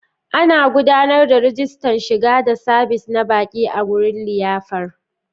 Ana gudanar da rajistan shiga da sabis na baƙi a wurin liyafar.